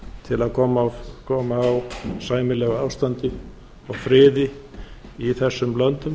til að koma á sæmilegu ástandi og friði í þessum löndum